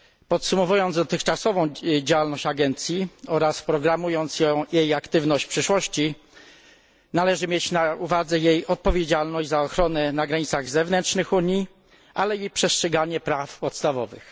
Podsumowując dotychczasową działalność agencji oraz programując jej aktywność w przyszłości, należy mieć na uwadze jej odpowiedzialność za ochronę na granicach zewnętrznych Unii, ale i przestrzeganie praw podstawowych.